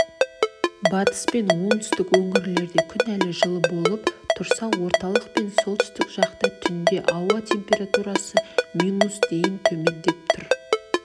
батыс пен оңтүстік өңірлерде күн әлі жылы болып тұрса орталық пен солтүстік жақта түнде ауа температурасы минус дейін төмендеп тұр